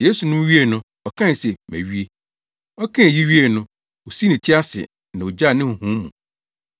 Yesu nom wiei no, ɔkae se, “Mawie!” Ɔkaa eyi wiee no, osii ne ti ase na ogyaa ne honhom mu.